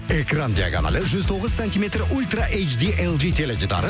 экран диагоналі жүз тоғыз сантиметр ультра эй джи эл джи теледидары